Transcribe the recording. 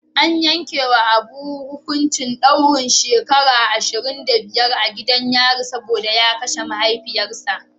An yankewa Abu hukuncin daurin shekaru ashirin da biyar a gidan yari saboda ya kashe mahaifinsa.